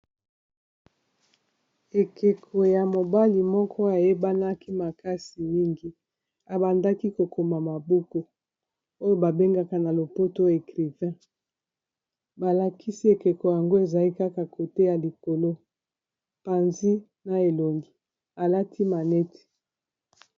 Ekeko ya mobali moko ayebanaki makasi mingi abandaki kokoma ma buku oyo babengaka na lopoto écrivain balakisi ekeko yango ezali kaka kote ya likolo panzi na elongi alati maneti.